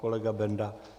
Kolega Benda?